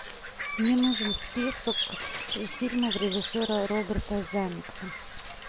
мне нужен список фильмов режиссера роберта замекса